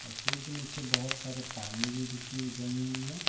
औ पुल के नीचे बहोत सारे पानी भी रुकी हुई जमी हुई है।